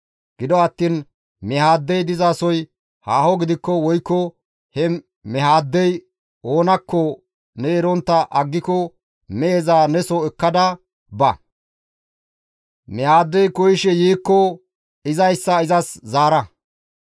Gido attiin mehaaddey dizasoy haaho gidikko woykko he mehaaddey oonakko ne erontta aggiko meheza neso ekkada ba; mehaaddey koyishe yiikko izayssa izas zaara.